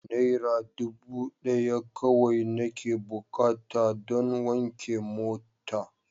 Naira dubu daya kawai nake bukata don wanke mota.